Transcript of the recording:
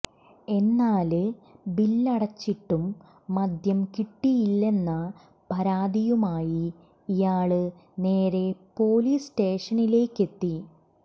എന്നാല് ബില്ലടച്ചിട്ടും മദ്യം കിട്ടിയില്ലെന്ന പരാതിയുമായി ഇയാള് നേരെ പോലീസ് സ്റ്റേഷനിലേക്കെത്തി